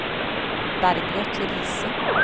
Bergliot Riise